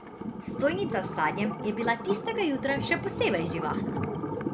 Stojnica s sadjem je bila tistega jutra še posebej živahna.